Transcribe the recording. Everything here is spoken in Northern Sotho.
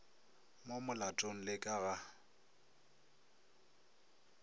mo molatong le ka ga